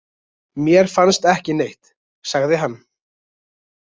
Mér fannst ekki neitt, sagði hann.